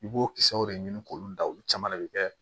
I b'o kisɛw de ɲini k'olu da olu caman de bɛ kɛ